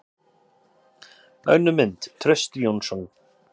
Önnur mynd: Trausti Jónsson.